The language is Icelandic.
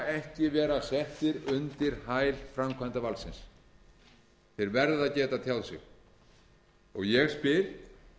ekki vera settir undir hæl framkvæmdarvaldsins þeir verða að geta tjáð sig og ég spyr